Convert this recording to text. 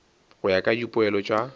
go ya ka dipoelo tša